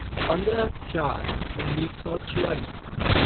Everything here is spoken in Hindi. पंद्रह चार उन्नीस सौ छियालीस